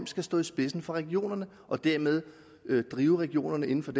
skal stå i spidsen for regionerne og dermed drive regionerne inden for